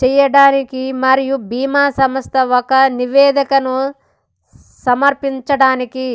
చేయడానికి మరియు భీమా సంస్థ ఒక నివేదికను సమర్పించడానికి